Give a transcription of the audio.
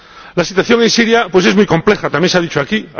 La situación en Siria es muy compleja, también se ha dicho aquí.